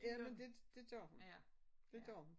Jamen dte det gør hun. Det gør hun